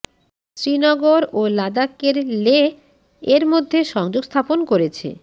শ্রীনগর ও লাদাখের লেহ এর মধ্যে সংযোগ স্থাপন করেছে